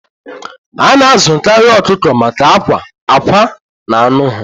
A na-azụkarị ọkụkọ maka akwa na anụ ha.